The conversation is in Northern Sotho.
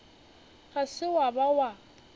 ga se wa ba wa